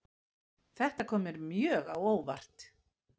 Þetta kom mér mjög á óvart